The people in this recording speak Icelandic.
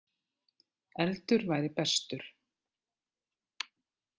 Eldur væri bestur.